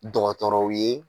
Dɔgɔtɔrɔw ye